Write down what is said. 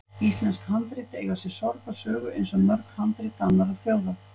Íslensk handrit eiga sér sorgarsögu, eins og mörg handrit annarra þjóða.